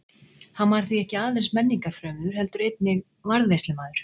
Hann var því ekki aðeins menningarfrömuður heldur einnig varðveislumaður.